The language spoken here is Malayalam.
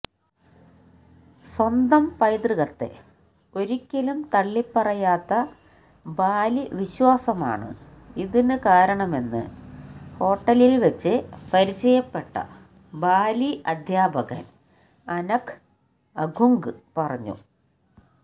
സ്വന്തം പൈതൃകത്തെ ഒരിക്കലും തള്ളിപ്പറയാത്ത ബാലിവിശ്വാസമാണ് ഇതിന് കാരണമെന്ന് ഹോട്ടലില്വെച്ച് പരിചയപ്പെട്ട ബാലി അധ്യാപകന് അനക് അഗുങ് പറഞ്ഞു